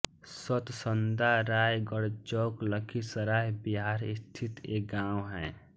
सतसंदा रायगढचौक लखीसराय बिहार स्थित एक गाँव है